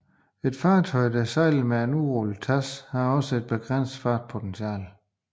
Et fartøj der sejler med et udrullet TASS har også et begrænset fartpotentiale